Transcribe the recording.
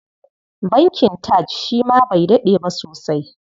Bankin TAJ shi ma bai daɗe ba sosai.